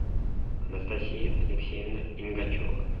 анастасия алексеевна ингачева